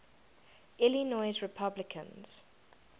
illinois republicans